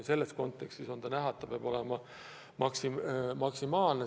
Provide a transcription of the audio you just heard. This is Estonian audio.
Selles kontekstis on näha, et see peab olema maksimaalne.